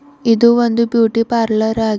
ಇದು ಒಂದು beauty parlour ಆಗಿ --